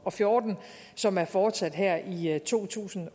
og fjorten som er fortsat her i to tusind